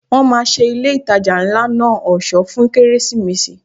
Wọ́n máa ṣe ilé ìtajà ńlá náà ọ̀ṣọ́ fún Kérésìmesì.